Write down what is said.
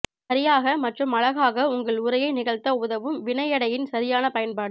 சரியாக மற்றும் அழகாக உங்கள் உரையை நிகழ்த்த உதவும் வினையடையின் சரியான பயன்பாடு